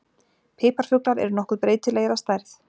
Piparfuglar eru nokkuð breytilegir að stærð.